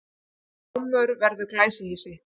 Gámur verður glæsihýsi